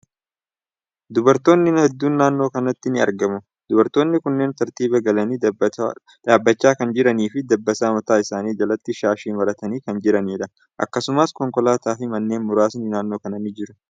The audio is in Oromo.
Dubartootni hedduun naannoo kanatti ni argamu. Dubartootni kunneen tartiiba galanii dhaabbachaa kan jiranii fi dabbasaa mataa isaanii jalatti shaashii maratanii kan jiraniidha. Akkasumas, konkolaataa fi manneen muraasni naannoo kana ni jiru.